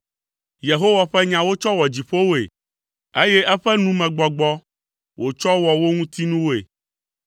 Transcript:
Yehowa ƒe nya wotsɔ wɔ dziƒowoe, eye eƒe numegbɔgbɔ wotsɔ wɔ wo ŋuti nuwoe.